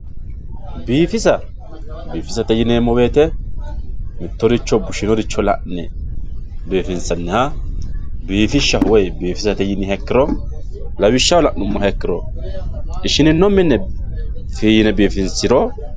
Biifisa biifisate yinemo woyite mitoricho busheworicho la`ne biifinsaniha bifishaho woyi bifisate yiniha ikiro lawishshaho ishinino mine fiinne bifiniro.